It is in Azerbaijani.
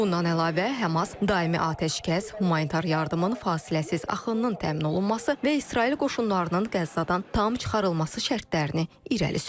Bundan əlavə, Həmas daimi atəşkəs, humanitar yardımın fasiləsiz axınının təmin olunması və İsrail qoşunlarının Qəzzadan tam çıxarılması şərtlərini irəli sürüb.